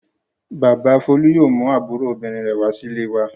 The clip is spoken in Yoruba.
Bàbá Folú yóò mú àbúrò obìnrin rẹ̀ wá sílé wa.